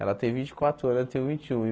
Ela tem vinte e quatro anos, eu tenho vinte e um e.